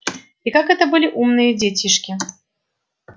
и какие это были умные детишки